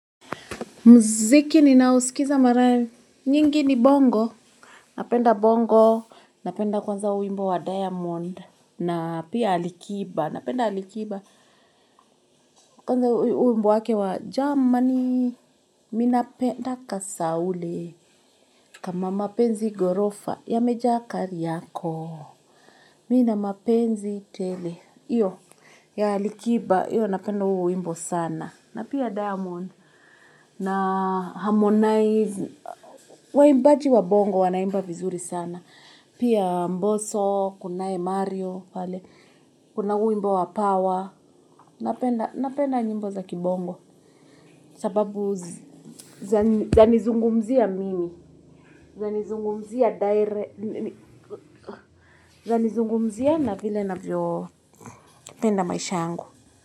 Muziki ni naosikiza mara nyingi ni bongo. Napenda bongo. Napenda kwanza wimbo wa diamond. Na pia Alikiba. Napenda alikiba. Kwanza wimbo wake wa jamani. Mimi napenda kasaule. Kama mapenzi ghorofa yamejaa kari yako. Mimi nina mapenzi tele. Hiyo ya Alikiba. Hiyo napenda huo wimbo sana. Na pia Diamond. Na Harmonize. Waimbaji wa bongo wanaimba vizuri sana. Pia mboso, kunaye mario, kuna huu wimbo wa power. Napenda nyimbo za kibongo. Sababu zanizungumzia mimi. Zanizungumzia na vile ninavyo penda maisha yangu.